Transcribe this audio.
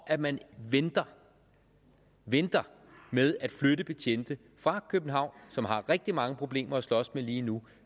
at man venter venter med at flytte betjente fra københavn som har rigtig mange problemer at slås med lige nu